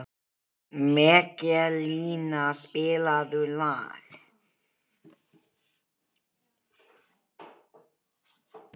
Hallbjörg Frímanns sötrar kaffið og brosir í kampinn.